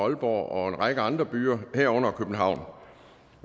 en række andre byer herunder københavn